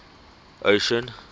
ocean